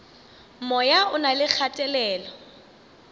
moya o na le kgatelelo